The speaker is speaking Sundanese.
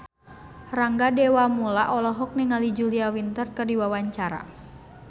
Rangga Dewamoela olohok ningali Julia Winter keur diwawancara